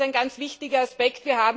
Das ist ein ganz wichtiger Aspekt.